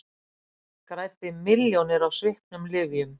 Græddi milljónir á sviknum lyfjum